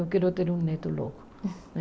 Eu quero ter um neto logo, né?